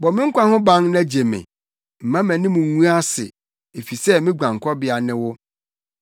Bɔ me nkwa ho ban na gye me; mma mʼanim ngu ase, efisɛ me guankɔbea ne wo.